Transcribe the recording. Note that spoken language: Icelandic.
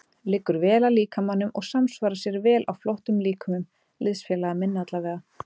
Liggur vel að líkamanum og samsvarar sér vel á flottum líkömum liðsfélaga minna allavega.